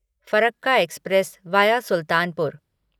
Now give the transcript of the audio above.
Farakka express via Sultanpur